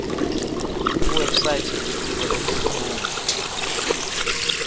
kuwebsite yelitiko letemfundvo